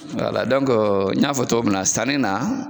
n y'a fɔ cogo min na sanni na.